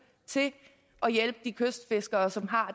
og hjælpe de kystfiskere som har